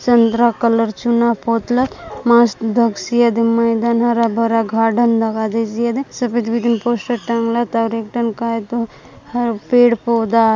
Chandra colour चुना पोतलत मस्त दकसी एदे मैदान हरा-भरा गार्डन दका देसी एदे सफेद विदिन पोस्टर टांगलात और एक टन काय ह पेड-पौधा --